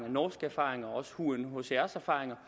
og norske erfaringer og også unhcr’s erfaringer